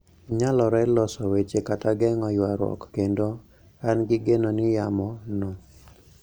Nyalore loso weche kata geng`o yuaruok kendo an gi geno ni yamo no